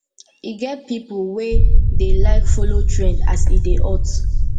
e get pipo wey dey like follow trend as e dey hot